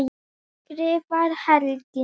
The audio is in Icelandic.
skrifar Helgi.